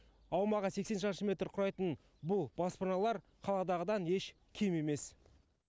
аумағы сексен шаршы метр құрайтын бұл баспаналар қаладағыдан еш кем емес